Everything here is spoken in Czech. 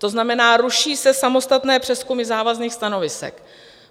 To znamená, ruší se samostatné přezkumy závazných stanovisek.